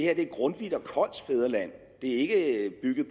er grundtvigs og kolds fædreland det er ikke bygget